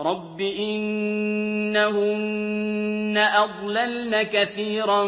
رَبِّ إِنَّهُنَّ أَضْلَلْنَ كَثِيرًا